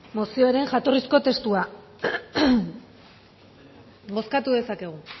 mozioaren jatorrizko testua bozkatu dezakegu